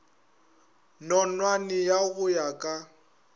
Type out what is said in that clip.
nonwane ya go ya ka